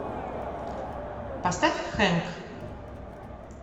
поставь хэнк